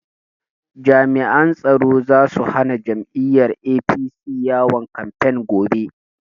Jami'an tsaro zasu hana jam'iyyar APC yawon kamfen gobe